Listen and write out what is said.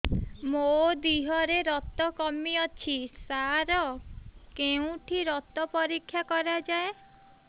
ମୋ ଦିହରେ ରକ୍ତ କମି ଅଛି ସାର କେଉଁଠି ରକ୍ତ ପରୀକ୍ଷା କରାଯାଏ